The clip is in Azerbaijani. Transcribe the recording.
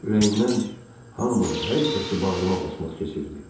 Ürəyimdən hamını, hər kəsi bağrıma basmaq keçirdi.